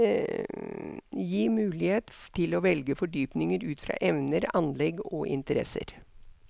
Gi mulighet til å velge fordypning ut fra evner, anlegg og interesser.